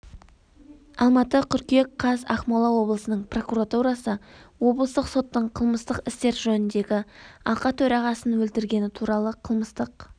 алматы қыркүйек қаз ақмола облысының прокуратурасы облыстық соттың қылмыстық істер жөніндегі алқа төрағасын өлтіргені туралы қылмыстық